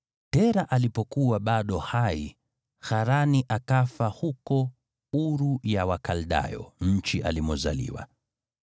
Tera alipokuwa bado hai, Harani akafa huko Uru ya Wakaldayo, nchi alimozaliwa.